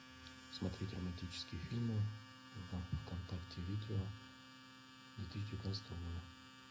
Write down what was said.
смотреть романтические фильмы в вконтакте видео две тысячи девятнадцатого года